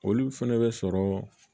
Olu fɛnɛ bɛ sɔrɔ